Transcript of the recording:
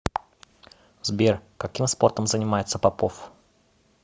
сбер каким спортом занимается попов